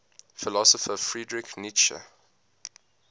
philosopher friedrich nietzsche